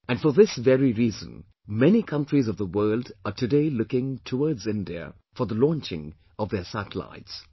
And for this very reason, many countries of the world are today looking towards India for the launching of their satellites